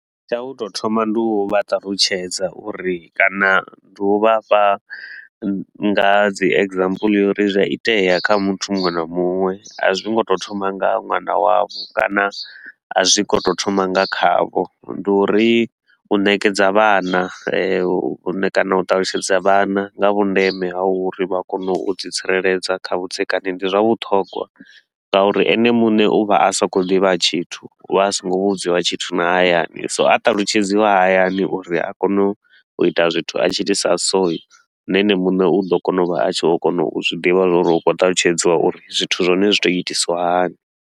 Tsha u tou thoma ndi u vha ṱalutshedza uri kana ndi u vha fha nga dzi example ya uri zwi a itea kha muthu muṅwe na muṅwe. A zwi ngo tou thoma nga ṅwana wavho kana a zwi ngo tou thoma nga khavho. Ndi uri u nekedza vhana, u ne kana u ṱalutshedza vhana nga vhundeme ha uri vha kone u di tsireledza kha vhudzekani ndi zwa vhuṱhogwa ngauri ene muṋe u vha a sa khou ḓivha tshithu. U vha a so ngo vhudziwa tshithu na hayani, so a talutshedzwa hayani uri a kone u ita zwithu a tshiitisa so, na ene muṋe u ḓo kona u vha a tshi vho kona u zwi ḓivha zwa uri u khou talutshedziwa uri zwithu zwa hone zwi tou itisiwa hani.